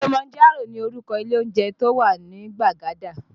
Kilimanjaro ni orúkọ ilé oúnjẹ tí ó wà ní Gbagada